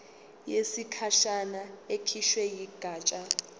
yesikhashana ekhishwe yigatsha